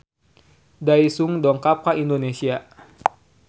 Daesung dongkap ka Indonesia